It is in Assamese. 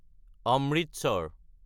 অমৃতসৰ